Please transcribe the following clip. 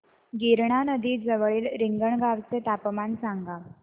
गिरणा नदी जवळील रिंगणगावाचे तापमान सांगा